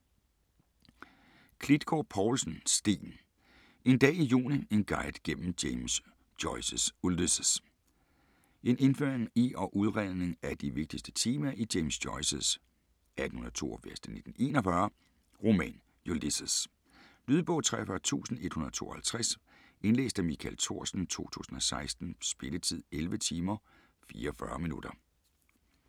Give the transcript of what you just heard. Klitgård Povlsen, Steen: En dag i juni: en guide gennem James Joyces Ulysses En indføring i og udredning af de vigtigste temaer i James Joyces (1882-1941) roman Ulysses. Lydbog 43152 Indlæst af Michael Thorsen, 2016. Spilletid: 11 timer, 44 minutter.